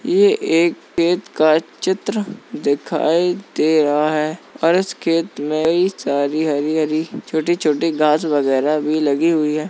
यह एक खेत का चित्र दिखाई दे रहा है और इस खेत में कई सारी हरी हरी छोटी-छोटी घास वगैरह भी लगी हुई है।